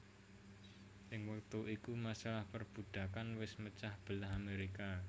Ing wektu iku masalah perbudakan wés mecah belah Amerika